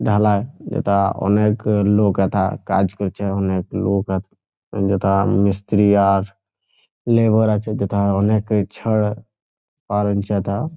ঢালাই এটা অনেক লোক এথা কাজ করছে। অনেক লোক আ অন্যথা মিস্ত্রি আর লেবার আছে। যেথা অনেক ই ছাড় ।